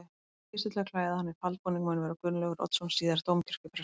Fyrstur til að klæða hana í faldbúning mun vera Gunnlaugur Oddsson síðar dómkirkjuprestur.